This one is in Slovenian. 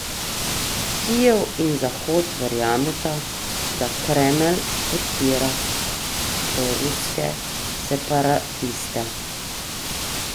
Kijev in Zahod verjameta, da Kremelj podpira proruske separatiste.